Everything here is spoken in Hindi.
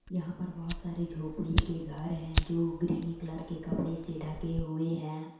यहां पर बहोत सारे झोपडी के घर हैं जो ग्रीनी कलर के कपड़े से ढके हुएं हैं।